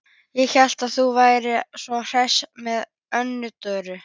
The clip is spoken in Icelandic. Ég hélt að þú værir svo hress með Önnu Dóru.